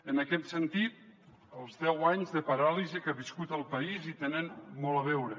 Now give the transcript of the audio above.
en aquest sentit els deu anys de paràlisi que ha viscut el país hi tenen molt a veure